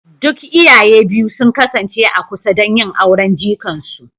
Duk iyaye biyu sun kasance a kusa don yin auren jikan su